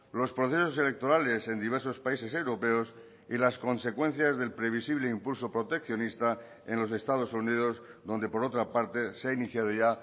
los procesos electorales en diversos países europeos y las consecuencias del previsible impulso proteccionista en los estados unidos donde por otra parte se ha iniciado ya